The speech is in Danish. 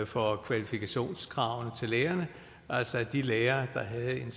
for kvalifikationskravene til lærerne altså at de lærere der havde en